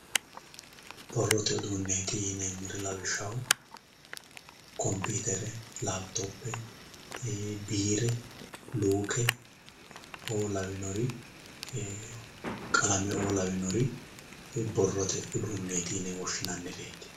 borrote uduunneeti yineemmori lawishshaho kompiitere laapitope biire luuke"oo lawinori qalamenni"oo lawinori borrote uduunneeti yine woshshinannireeti.